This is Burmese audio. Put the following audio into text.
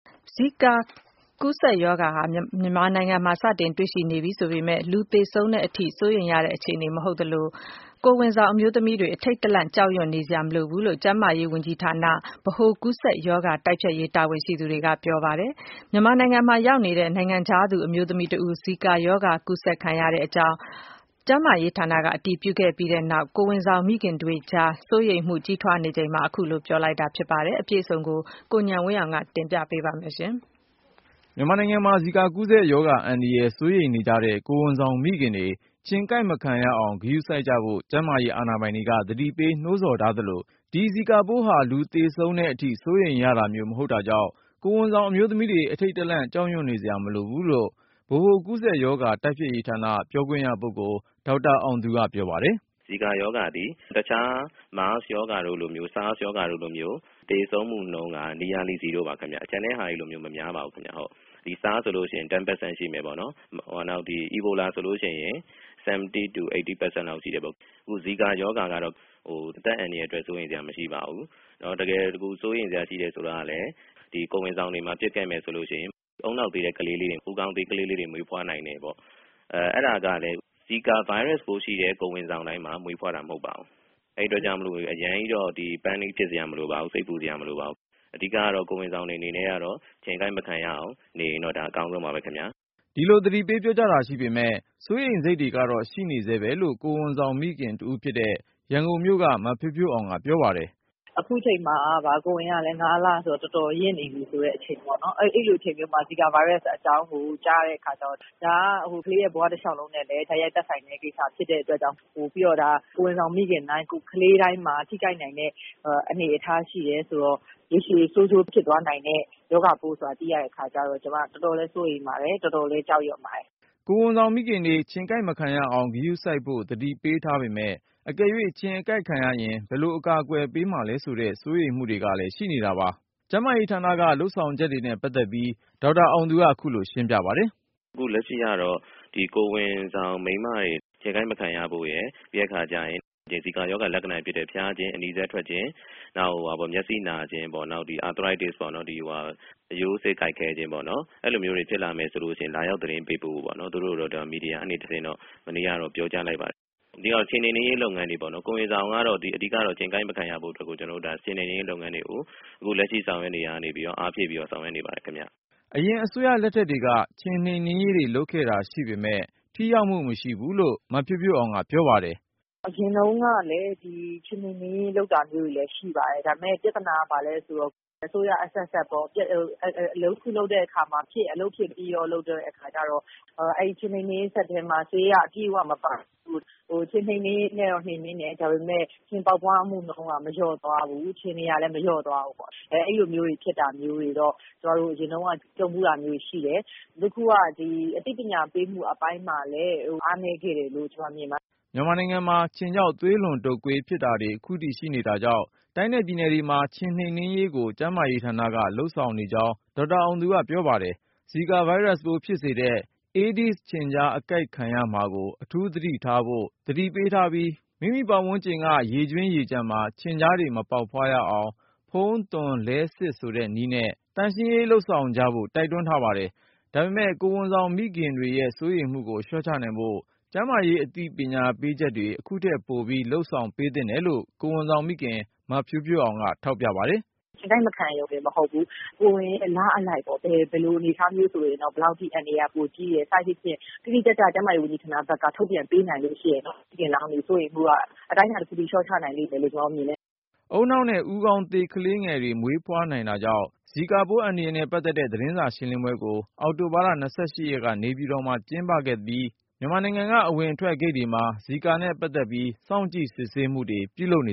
ဇီကာ ကူးစက်ရောဂါ မြန်မာနိုင်ငံမှာ စတင်တွေ့ရှိနေပြီဆိုပေမယ့် လူသေဆုံးတဲ့ အထိ စိုးရိမ်ရတဲ့ အခြေ အနေမဟုတ်သလို၊ ကိုယ်ဝန်ဆောင် အမျိုးသမီးတွေ အထိန့် တလန့် ကြောက်ရွံ့နေစရာ မလိုဘူးလို့ ကျန်းမာရေးဝန်ကြီးဌာန ဗဟိုကူးစက်ရောဂါ တိုက်ဖျက်ရေး တာဝန်ရှိသူတွေက ပြောကြားလိုက် ပါတယ်။ မြန်မာနိုင်ငံမှာရော က်နေတဲ့ နိုင်ငံခြားသူ အမျိုးသမီးတဦး ဇီကာရောဂါ ကူးစက်ခံရကြောင်း ကျန်းမာရေး ဌာနက အတည်ပြုခဲ့ပြီးနောက် ကိုယ်ဝန်ဆောင်မိခင်တွေကြား စိုးရိမ်မှုကြီး ထွားနေ ချိန်မှာ အခုလို ပြောဆိုလိုက်တာ ဖြစ်ပါတယ်။ ကိုဉာဏ်ဝင်းအောင်က တင်ပြထား ပါတယ်။ မြန်မာနိူင်ငံမှာ ဇီကာကူးစက်ရောဂါအန္တရာယ် စိုးရိမ်နေကြတဲ့ ကိုယ်ဝန်ဆောင် မိခင်တွေ ခြင်ကိုက် မခံရအောင် ဂရုစိုက်ကြဖို့ ကျန်းမာရေး အာဏာပိုင်တွေက သတိပေးနှိုးဆော်ထားသလို၊ ဒီ ဇီကာပိုးဟာ လူသေဆုံးတဲ့အထိ စိုးရိမ်ရတာမျိုး မဟုတ်တာကြောင့် ကိုယ်ဝန်ဆောင် အမျိုးသမီးတွေ အထိန့်တလန့် ကြောက်ရွံ့နေ စရာမလိုဘူးလို့ ဗဟိုကူးစက်ရောဂါ တိုက်ဖျက်ရေးဌာန ပြောခွင့်ရပုဂ္ဂိုလ် ဒေါက်တာေ အာင်သူက ပြောပါတယ်။ “ ဇီကာရောဂါသည် အခြား မားစ်ရောဂါတို့လို ဆားစ် ရောဂါတို့လိုမျိုး သေဆုံးမှုနှုန်း က Nearly Zero ပါခင်ဗျ။ ကျန်တဲ့ဟာတွေလိုမျိုး မများ ပါဘူးခင်ဗျ။ ဆားစ် ဆိုလို့ရှင် ၁၀% ရှိမယ်ပေါ့နော်၊ နောက် အီဘိုလာဆိုလို့ရှိရင် ၇၀ ကနေ ၈၀% လောက် ရှိ တာပေါ့။ ခု ဇီကာရောဂါကတော့ အသက်အန္တရာယ်အတွက် စိုးရိမ်စရာ မရှိပါဘူး။ တကယ်စိုးရိမ်စရာ ရှိတယ်ဆိုတာကလဲ ဒီကိုယ်ဝန်ဆောင်တွေမှာ ဖြစ်ခဲ့မယ်ဆိုရင် ဦးနှောက် သေးတဲ့ ကလေးလေးတွေ၊ ဦးခေါင်းသေး ကလေးလေးတွေ မွေးဖွားနိူင် တယ်ပေါ့။ အဲဒါကလဲ ဇီကာဗိုင်းရပ်စ်ပိုးရှိတဲ့ ကိုယ်ဝန်ဆောင် တိုင်းမှာ မွေးဖွားတာ မဟုတ်ပါဘူး။ အဲဒီအတွက်ကြောင့် အရမ်းကြီး စိတ်ပူစရာ မလိုပါဘူး၊ အဓိကတော့ ကိုယ်ဝန်ဆောင်တွေ အနေနဲ့ ခြင်ကိုက် မခံရအောင် နေရင် ဒါအကောင်းဆုံးပါပဲ ” ဒီလို သတိပေးပြောကြားတာ ရှိပေမယ့် စိုးရိမ်စိတ်တွေကတော့ ရှိနေတယ်လို့ ကိုယ်ဝန်ဆောင် မိခင်တဦးဖြစ်တဲ့ ရန်ကုန်မြို့က မဖြိုးဖြိုးအောင်က ပြောပါတယ်။ “ အခုချိန်မှာ ကိုယ်ဝန်ကလဲ ၅ လဆိုတော့ တော်တော်ရင့်နေပြီ ဆိုတဲ့အချိန်ပေ့ါနော်။ အဲဒီလို အချိန်မျိုးမှာ ဇီကာဗိုင်းရပ်စ် အကြောင်းကို ကြားရတဲ့ အခါကျတော့.. ဒါက ကလေးရဲ့ ဘဝတလျှောက်လုံးနဲ့လည်း တိုက်ရိုက် သက်ဆိုင်တဲ့ကိစ္စ ဖြစ်တဲ့အတွ က်ကြောင့်၊ ပြီးတော့ ဒါ ကိုယ်ဝန်ဆောင်မိခင်တိုင်း ကလေး တိုင်းမှာ ထိခိုက်နိူင်တဲ့ အနေအထား ရှိတယ်ဆိုတော့ ရေရှည်ဆိုးကျိုး ဖြစ်သွားနိူင်တဲ့ ရောဂါပိုး ဆိုတာ သိရ တဲ့ အခါကျတော့ ကျမတော်တော်လဲ စိုးရိမ်ပါတယ်။ တော်တော်လဲ ကြောက်ရွံ့ ပါတယ် ” ကိုယ်ဝန်ဆောင်မိခင်တွေ ခြင်ကိုက်မခံရအောင် ဂရုစိုက်ဖို့ သတိပေးထားပေမယ့် အကယ်၍ ခြင်အကိုက်ခံရရင် ဘယ်လို အကာအကွယ်ပေး မှာလဲဆိုတဲ့ စိုးရိမ်မှုတွေ ကလည်း ရှိနေတာပါ။ ကျန်းမာရေးဌာနက လုပ်ဆောင်ချက်တွေနဲ့ ပတ်သက်ပြီး ေ ဒါက်တာအောင်သူက ခုလိုပြော ပါတယ်။ “ အခုလက်ရှိကတော့ ကိုယ်ဝန်ဆောင် မိန်းမတွေ ခြင်ကိုက်မခံရဖို့ရယ် ဒီဇီကာရော ဂါ လက္ခဏာတွေဖြစ်တဲ့ ဖျားခြင်း၊ အနီစက်ထွက်ခြင်း နောက် မျက်စိနာခြင်း၊ နောက် အာသရိုက်တစ် အရိုးအဆစ် ကိုက်ခဲခြင်းပေါ့.. အဲလိုမျိုးတွေ ဖြစ်လာမယ်ဆိုရင် လာရောက် သတင်းပေးပို့ ဖို့ပေါ့။ သူတို့ကိုတော့ မီဒီယာကနေ တဆင့်တော့ မနေ့ က ပြောကြား လိုက်ပါတယ်။ အဓိက ခြင်နှိမ်နင်းရေး လုပ်ငန်းတွေပေါ့၊ ကိုယ်ဝန်ဆောင် ကတော့ အဓိက ခြင်ကိုက်မခံရဖို့… ကျနော်တို့ ခြင်နှိမ်နင်းရေး လုပ်ငန်းတွေကို အခုဆောင်ရွက်နေရာ ကနေပြီးတော့ အားဖြည့်ပြီးဆောင် ရွက်နေ ပါတယ် ခင်ဗျ” အရင်အစိုးရလက်ထက်တွေက ခြင်နှိမ်နင်းရေးတွေ လုပ်ခဲ့တာရှိပေမယ့် ထိရောက်မှု မရှိဘူးလို့ မဖြိုးဖြိုးအောင်က ပြောပါတယ်။ “ အရင်တုန်းကလဲ ခြင်နှိမ်နင်းရေး လုပ်တာမျိုးတွေ ရှိပါတယ်။ ဒါပေမယ့် ပြဿနာက ဘာလဲဆိုတော့ အစိုးရအဆက်ဆက်ပေါ့ အလုပ်တခု လုပ်တဲ့အခါမှာ အဖြစ်ပဲ.. အလုပ်ဖြစ် ပြီးရောဆိုတဲ့ အခါကျတော့ အဲဒီခြင်နှိမ်နင်းရေး စက်ထဲမှာ ဆေးက အပြည့်အဝ မပါဘူးတို့၊ ခြင်တော့ နှိမ်နင်းတယ် ဒါပေမယ့် ခြင်ပေါက်ဖွားမှုနှုန်း က လျော့မသွားဘူး၊ ခြင်တွေကလဲ လျော့မသွားဘူး။ အဲလိုဖြစ်တာ အရင်တုန်းက ကြုံဖူးတာ ရှိတယ်။ အခုက အသိပညာပေးမှု အပိုင်းမှာလဲ အားနည်းခဲ့တယ်လို့ ကျမမြင်ပါတယ် ” မြန်မာနိူင်ငံမှာ ခြင်ကြောင့် သွေးလွန်တုတ်ကွေးဖြစ်တာတွေ ခုထိရှိနေတာကြောင့် တိုင်းနဲ့ပြည်နယ်တွေမှာ ခြင်နှိမ်နင်းရေးကို ကျန်းမာရေးဌာနက လုပ်ဆောင်နေေ ကြာင်း ဒေါက်တာအောင်သူကပြောပါတယ်။ ဇီကာဗိုင်းရပ်စ်ပိုး ဖြစ်စေတဲ့ အေးဒီးဇ်ခြင်ကျား အကိုက်ခံရမှာကို အထူးသတိ ထားဖို့ သတိပေးထားပြီး မိမိပတ်ဝန်းကျင်က ရေကြွင်းရေကျန်မှာ ခြင်ကျားတွေ မပေါက်ဖွား ရအောင် “ဖုန်း၊ သွန်၊ လဲ၊ စစ်” ဆိုတဲ့နည်းနဲ့ သန့်ရှင်းရေးလုပ်ဆောင်ကြဖို့ တိုက် တွန်း ထားပါတယ်။ ဒါပေမယ့် ကိုယ်ဝန်ဆာင် မိခင်တွေရဲ့ စိုးရိမ်မှုကို လျှော့ ချနိုင်ဖို့ ကျန်းမာရေး အသိ ပညာပေးချက်တွေ အခုထက်ပို လုပ်ပေးသင့်တယ်လို့ ကိုယ်ဝန်ဆောင်မိခင် မဖြိုးဖြိုးအောင်က ထောက်ပြပါတယ်။ “ ခြင်ကိုက် မခံရရုံတင် မဟုတ်ဘူး၊ ကိုယ်ဝန် လအလိုက်ပေါ့ ဘယ်လိုအနေအထား မျိုး ဆိုရင်တော့ ဘယ်လောက်ထိ အန္တရယ်က ပိုကြီးတယ် စသဖြင့် တိတိကျကျ ကျန်းမာရေး ဝန်ကြီးဌာနဖက်က ထုတ်ပြန်ပေးနိုင်လို့ ရှိရင်တော့ မိခင်လောင်းတွေ စိုးရိမ်မှုက အတိုင်းတာ တခုထိ လျှော့ချနိုင် လိမ့်မယ်လို့ မြင်တယ် ” ဦးနှောက်နဲ့ ဦးခေါင်းသေး ကလေးတွေ မွေးဖွားနိုင်တာကြောင့် ဇီကာပိုးအန္တရာယ် နဲ့ပတ်သက်တဲ့ သတင်းစာရှင်းလင်းပွဲကို အောက်တိုဘာ ၂၈ ရက် နေပြည်တော်မှာ ကျင်းပခဲ့သလို၊ မြန်မာနိူင်ငံ အဝင်အထွက် ဂိတ်တွေမှာ ဇီကာနဲ့ပတ်သက်ပြီး စောင့် ကြည့် စစ်ဆေးမှုတွေ လုပ်န